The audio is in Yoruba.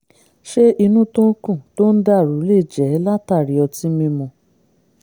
ṣé inú tó ń kùn tó ń dàrú lè jẹ́ látàri ọtí mímu?